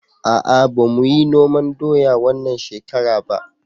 A'a ba muyi noman doya wannan shekara ba